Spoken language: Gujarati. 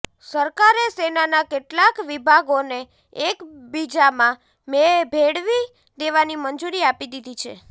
સરકારે સેનાના કેટલાક વિભાગોને એકબબીજામાં ભેળવી દેવાની મંજૂરી આપી દીધી છે